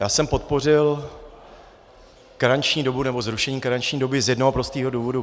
Já jsem podpořil zrušení karenční doby z jednoho prostého důvodu.